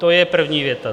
To je první věta.